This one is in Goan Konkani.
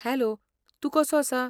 हॅलो, तूं कसो आसा?